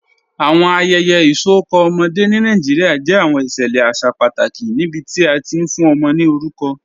Awọn ayẹyẹ isọkọ ọmọde ni Nàìjíríà jẹ awọn iṣẹlẹ aṣa pátàkì níbití a ti fún ọmọ ni orúkọ.